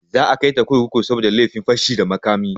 Za a kaita kurkuku saboda laifin fashi da makami.